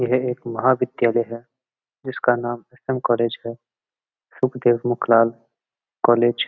यह एक महाविद्यालय है जिसका नाम एस. एम. कॉलेज है सुखदेव मुख लाल कॉलेज ।